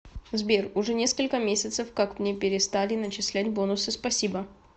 сбер уже несколько месяцев как мне перестали начислять бонусы спасибо